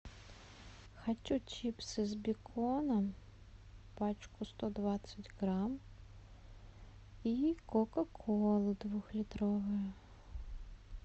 хочу чипсы с беконом пачку сто двадцать грамм и кока колу двухлитровую